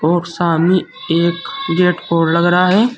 और सामने एक जेटपॉड लग रहा हैं।